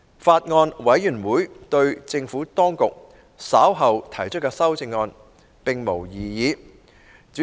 法案委員會對政府當局稍後提出的修正案，並無異議。